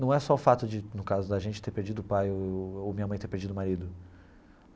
Não é só o fato de, no caso da gente, ter perdido o pai ou minha mãe ter perdido o marido.